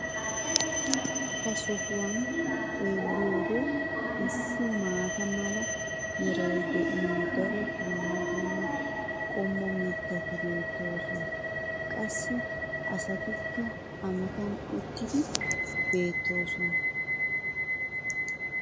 ha sohuwan xeelliyoode issi maata mala meray de'iyo daro dumma dumma qommo mitati beetoosona. qassi asatikka a matan ootiidi beetoosona.